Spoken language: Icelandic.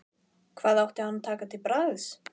Hvað átti hann að taka til bragðs?